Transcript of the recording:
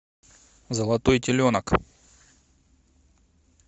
золотой теленок